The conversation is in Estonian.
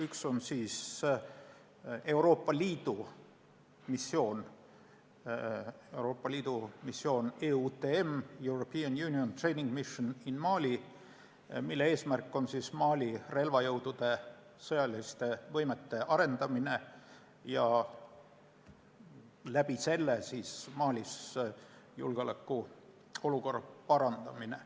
Üks on siis Euroopa Liidu missioon EUTM – European Union Training Mission in Mali –, mille eesmärk on Mali relvajõudude sõjaliste võimete arendamine ja selle kaudu Malis julgeolekuolukorra parandamine.